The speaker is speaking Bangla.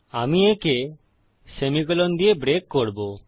আমি একে সেমিকোলন দিয়ে ব্রেক করবো